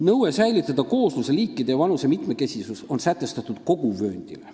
" Nõue säilitada koosluse liikide ja vanuse mitmekesisus on sätestatud kogu vööndile.